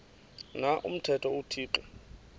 na umthetho uthixo